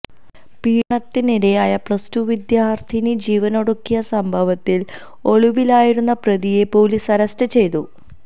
പീഡനത്തിനിരയായ പ്ലസ്ടു വിദ്യാര്ത്ഥിനി ജീവനൊടുക്കിയ സംഭവത്തില് ഒളിവിലായിരുന്ന പ്രതിയെ പോലീസ് അറസ്റ്റ് ചെയ്തു